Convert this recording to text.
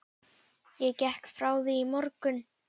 Ég gekk frá því í morgun.